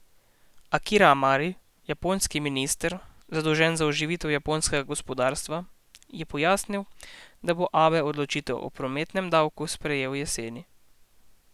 Akira Amari, japonski minister, zadolžen za oživitev japonskega gospodarstva, je pojasnil, da bo Abe odločitev o prometnem davku sprejel jeseni.